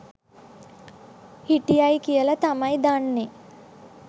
හිටියයි කියල තමයි දන්නෙ.